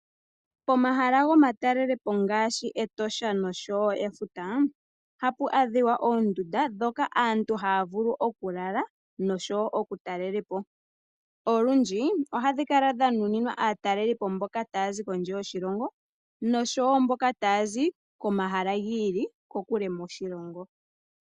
Pomahala gomatalele po ngaashi Etosha noshowo Efuta oha pu adhiwa oondunda dhoka aantu haya vulu okulala noshowo okutalele po. Olundji ohadhi kala dha nuninwa aateleli po mboka ta ya zi kondje yoshilongo noshowo mboka ta ya zi komahala giili kokule moshilongo.